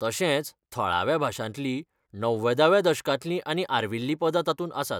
तशेंच थळाव्या भाशांतलीं णव्वदाव्या दशकांतली आनी आर्विल्ली पदां तातूंत आसात.